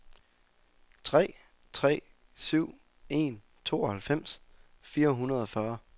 tre tre syv en tooghalvfems fire hundrede og fyrre